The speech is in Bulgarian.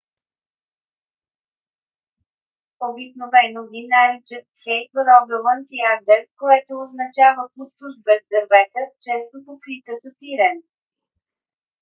обикновено ги наричат хей в рогаланд и агдер което означава пустош без дървета често покрита с пирен